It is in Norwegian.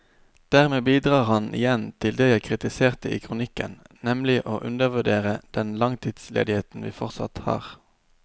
Dermed bidrar han igjen til det jeg kritiserte i kronikken, nemlig å undervurdere den langtidsledigheten vi fortsatt har.